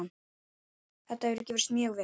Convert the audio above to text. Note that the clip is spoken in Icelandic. Þetta hefur gefist mjög vel.